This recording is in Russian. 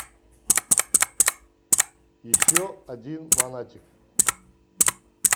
еще один монатик